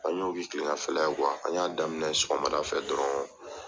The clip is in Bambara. An y'o kɛ kilegan fɛ la ye an y'a daminɛ sɔgɔmada fɛ dɔrɔn